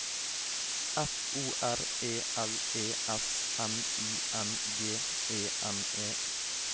F O R E L E S N I N G E N E